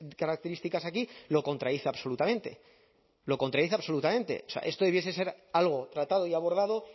características aquí lo contradice absolutamente lo contradice absolutamente esto debiese ser algo tratado y abordado